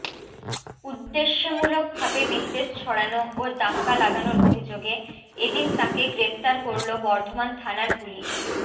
উদ্দেশ্যেমূলক ভাবে বিদ্বেষ ছড়ানো ও দাঙ্গা লাগানোর অভিযোগে এদিন তাঁকে গ্রেপ্তার করল বর্ধমান থানার পুলিশ